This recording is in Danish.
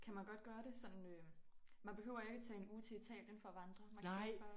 Kan man godt gøre det sådan øh man behøver ikke tage en uge til Italien for at vandre man kan godt bare